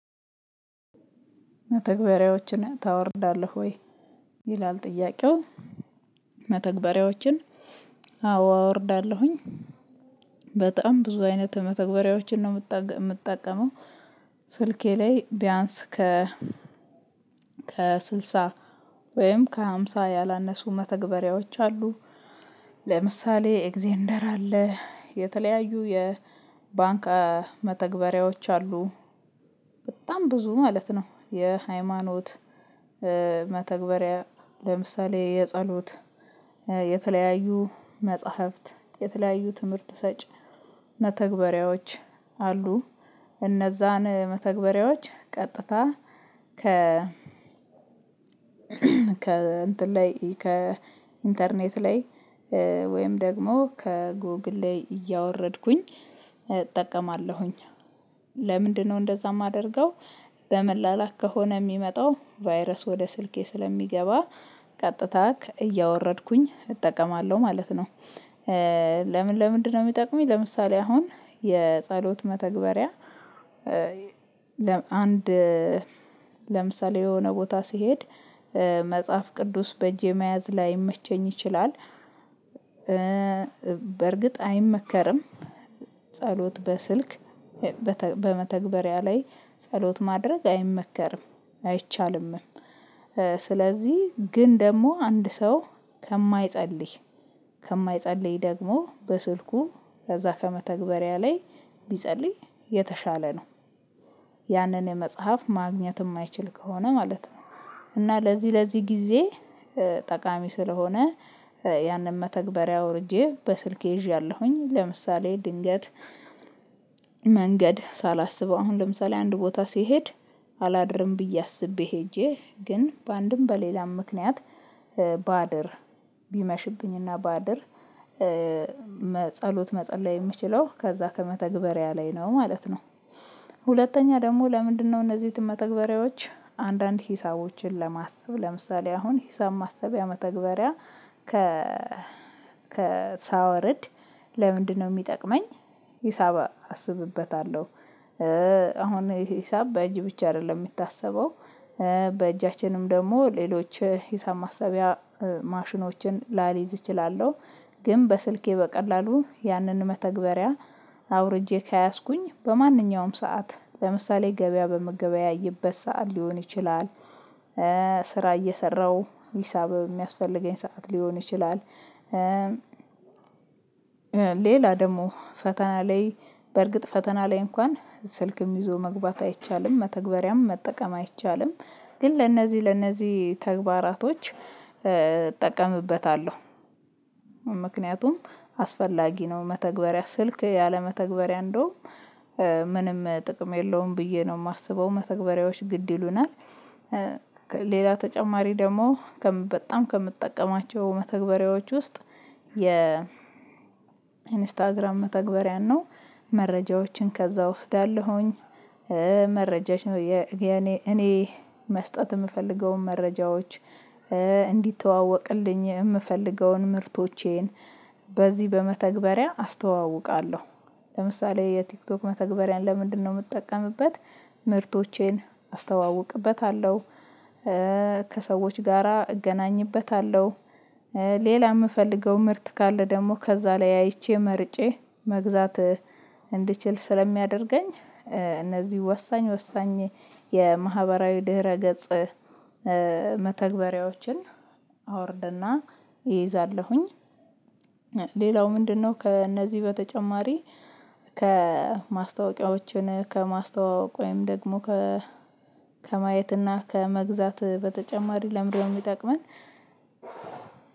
መተግበሪያዎችን ታወርዳለህ ወይ? ይላል ጥያቄው። መተግበሪያዎችን አዎ አወርዳለሁኝ በጣም ብዙ አይነት መተግበሪያዎችን ነው የምጠቀመው ስልኬ ላይ ቢያንስ ከ ከስልሳ ወይም ከሃምሳ ያላነሱ መተግበሪያዎች አሉ ለምሳሌ ኤግዜንደር አለ፣ የተለያዩ የ ባንክ መተግበሪያዎች አሉ በጣም ብዙ ማለት ነው የሃይማኖት መተግበሪያ ለምሳሌ የጸሎት የተለያዩ መጽሐፍት የተለያዩ ትምህርት ሰጭ መተግበሪያዎች አሉ እነዛን መተግበሪያዎች ቀጥታ ከ ከ ከእንትን ላይ ከኢንተርኔት ላይ ወይም ደግሞ ከጎግል ላይ እያወረድኩኝ እጠቀማለሁኝ ለምንድነው እንደዛ የማደርገው በመላላክ ከሆነ የሚመጣው ቫይረስ ወደ ስልኬ ስለሚገባ ቀጥታ እያወረድኩኝ እጠቀማለሁ ማለት ነው ለምን ለምንድነው የሚጠቅመኝ ለምሳሌ አሁን የጸሎት መተግበሪያ አንድ ለምሳሌ የሆነ ቦታ ሲሄድ መጽሐፍ ቅዱስ በእጄ መያዝ ላይመቸኝ ይችላል በእርግጥ አይመከርም ጸሎት በስልክ በመተግበሪያ ላይ ጸሎት ማድረግ አይመከርም አይቻልምም ስለዚህ ግን ደግሞ አንድ ሰው ከማይጸልይ ከማይጸልይ ደግሞ በስልኩ ከዛ ከመተግበሪያ ላይ ቢጸልይ የተሻለ ነው ያንን የመጽሐፍ ማግኘት የማይችል ከሆነ ማለት ነው እና ለዚህ ለዚህ ጊዜ ጠቃሚ ስለሆነ ያንን መተግበሪያ ወርጄ በስልኬ ይዣለሁኝ ለምሳሌ ድንገት መንገድ ሳላስበው አሁን ለምሳሌ አንድ ቦታ ሲሄድ አላድርም ብዬ አስቤ ሄጄ ግን በአንድም በሌላም ምክንያት ባድር ቢመሽብኝ እና ባድር መጸሎት መጸለይ የምችለው ከዛ ከመተግበሪያ ላይ ነው ማለት ነው። ሁለተኛ ደግሞ ለምንድነው እነዚህ የተመተግበሪያዎች አንዳንድ ሂሳቦችን ለማሰብ ለምሳሌ አሁን ሂሳብ ማሰቢያ መተግበሪያ ከ ሳወርድ ለምንድነው የሚጠቅመኝ ሂሳብ አስብበታለሁ አሁን ሂሳብ በእጅ ብቻ አይደለም የምታስበው በእጃችንም ደግሞ ሌሎች ሂሳም ማሰቢያ ማሽኖችን ላሊዝ እችላለሁ ግን በስልኬ በቀላሉ ያንን መተግበሪያ አውርጄ ከያዝኩኝ በማንኛውም ሰዓት ለምሳሌ ገበያ በምገበያየበት ሰዓት ሊሆን ይችላል ስራ እየሰራሁ ሂሳብ የሚያስፈልገኝ ሰዓት ሊሆን ይችላል ሌላ ደግሞ ፈተና ላይ በእርግጥ ፈተና ላይ እንኳን ስልክም ይዞ መግባት አይቻልም መተግበሪያም መጠቀም አይቻልም ግን ለነዚህ ለነዚህ ተግባራቶች እጠቀምበታለሁ ምክንያቱም አስፈላጊ ነው መተግበሪያ ስልክ ያለመተግበሪያ እንደውም ምንም ጥቅም የለውም ብዬ ነው የማስበው መተግበሪያዎች ግድ ይሉናል ሌላ ተጨማሪ ደግሞ በጣም ከምትጠቀማቸው መተግበሪያዎች ውስጥ የ ኢንስታግራም መተግበሪያ ነው መረጃዎችን ከዛ እወስዳለሁኝ መረጃች እኔ መስጠት የምፈልገውን መረጃዎች እንዲተዋወቅልኝ የምፈልገውን ምርቶቼን በዚህ በመተግበሪያ አስተዋውቃለሁ ለምሳሌ የቲክቶክ መተግበሪያን ለምንድነው የምጠቀምበት ምርቶቼን አስተዋውቅበታለሁ ከሰዎች ጋራ እገናኝበታለሁ ሌላ የምፈልገው ምርት ካለ ደግሞ ከዛ ላይ አይቼ መርጬ መግዛት እንድችል ስለሚያደርገኝ እነዚህ ወሳኝ ወሳኝ የማህበራዊ ድህረ ገጽ መተግበሪያዎችን አወርድና እይዛለሁኝ ሌላው ምንድነው ከእነዚህ በተጨማሪ ከማስታወቂያዎችን ከማስታዋወቅ ወይም ደግሞ ከ ከማየትና ከመግዛት በተጨማሪ ለምንድነው የሚጠቅመን